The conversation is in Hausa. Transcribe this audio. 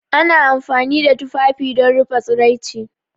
Ana amfani da tufafi don rufe tsiraici